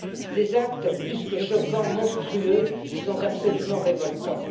Ces actes plus que choquants, monstrueux, sont absolument révoltants.